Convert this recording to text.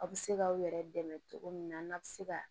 Aw bɛ se k'aw yɛrɛ dɛmɛ cogo min na n'a bɛ se ka